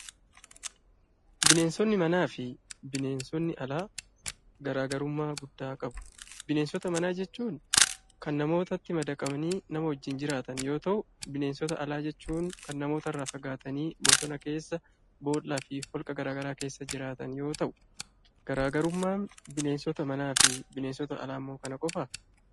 Bineensoonni manafi bineenoonni Alaa garagaruumma guddaa qabu. bineensooni mana jechuuni Kan namootatti madaqani nama wajjiin jiraatan yoo ta'u, bineensoonni Alaa jechuun; Kan namootaraa faagataani bosoona keessa boollafi holqa garagaraa keessa jiraatan yoo ta'u, Garagarummaan bineensoota manaafi bineensoota Alaamoo kana qofaa?